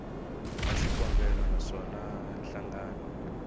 wa xikombelo na swona nhlangano